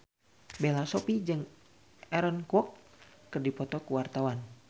Bella Shofie jeung Aaron Kwok keur dipoto ku wartawan